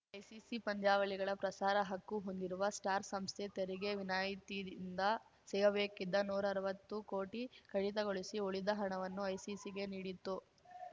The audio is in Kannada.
ಐಸಿಸಿ ಪಂದ್ಯಾವಳಿಗಳ ಪ್ರಸಾರ ಹಕ್ಕು ಹೊಂದಿರುವ ಸ್ಟಾರ್‌ ಸಂಸ್ಥೆ ತೆರಿಗೆ ವಿನಾಯಿತಿಯಿಂದ ಸಿಗಬೇಕಿದ್ದ ನೂರಾ ಅರ್ವತ್ತು ಕೋಟಿ ಕಡಿತಗೊಳಿಸಿ ಉಳಿದ ಹಣವನ್ನು ಐಸಿಸಿಗೆ ನೀಡಿತ್ತು